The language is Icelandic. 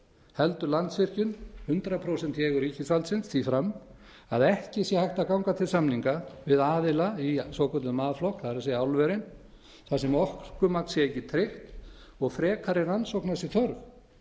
heldur landsvirkjun hundrað prósent í eigu ríkisvaldsins því fram að ekki sé hægt að ganga til samninga við aðila í svokölluðum a flokk það er álverin þar sem orkumagn sé ekki tryggt og frekari rannsókna sé þörf